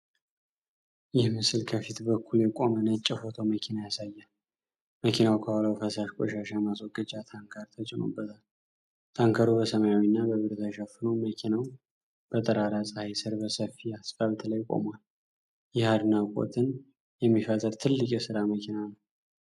ይህ ምስል ከፊት በኩል የቆመ ነጭ የፎቶንመኪና ያሳያል። መኪናው ከኋላው ፈሳሽ ቆሻሻ ማስወገጃ ታንከር ተጭኖበታል። ታንከሩ በሰማያዊና በብር ተሸፍኖ፤ መኪናው በጠራራ ፀሃይ ስር በሰፊ አስፋልት ላይ ቆሟል። ይህ አድናቆትን የሚፈጥር ትልቅ የሥራ መኪና ነው።